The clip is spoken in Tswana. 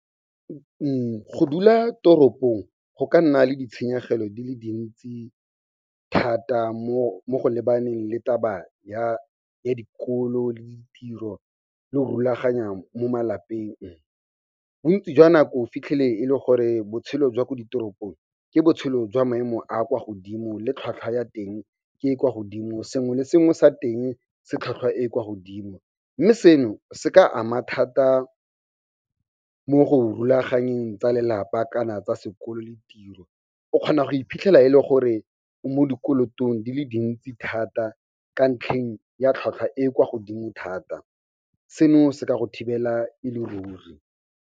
Go dula toropong go ka nna le ditshenyegelo di le dintsi thata, mo go lebaneng le taba ya dikolo le ditiro le go rulaganya mo malapeng. Bontsi jwa nako o fitlhele e le gore botshelo jwa ko ditoropong ke botshelo jwa maemo a a kwa godimo, le tlhwatlhwa ya teng ke e e kwa godimo, sengwe le sengwe sa teng se tlhwatlhwa e e kwa godimo. Mme seno se ka ama thata mo go rulaganyeng tsa lelapa kana tsa sekolo le tiro. O kgona go iphitlhela e le gore mo dikolotong di le dintsi thata, ka ntlheng ya tlhwatlhwa e e kwa godimo thata, seno se ka go thibela e le ruri.